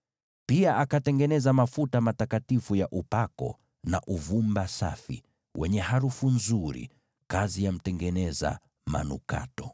Pia akatengeneza mafuta matakatifu ya upako, na uvumba safi wenye harufu nzuri, kazi ya mtengeneza manukato.